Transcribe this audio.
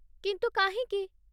କିନ୍ତୁ କାହିଁକି?